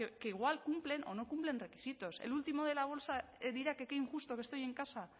que igual cumplen o no cumplen requisitos el último de la bolsa dirá que qué injusto que estoy en casa